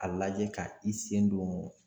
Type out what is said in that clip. A lajɛ ka i sen don